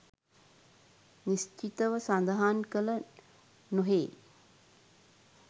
නිශ්චිත ව සඳහන් කළ නොහේ.